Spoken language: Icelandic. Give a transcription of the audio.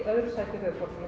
öðru sæti